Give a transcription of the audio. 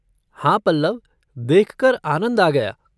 हाँ पल्लव! देखकर आनंद आ गया।